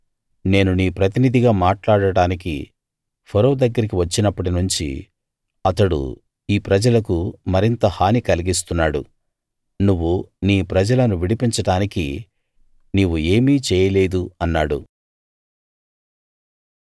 నేను నీ ప్రతినిధిగా మాట్లాడడానికి ఫరో దగ్గరికి వచ్చినప్పటి నుంచి అతడు ఈ ప్రజలకు మరింత హాని కలిగిస్తున్నాడు నువ్వు నీ ప్రజలను విడిపించడానికి నీవు ఏమీ చేయలేదు అన్నాడు